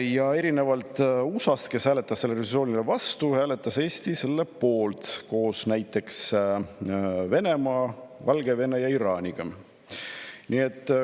Ja erinevalt USA-st, kes hääletas selle resolutsiooni vastu, hääletas Eestis selle poolt koos näiteks Venemaa, Valgevene ja Iraaniga.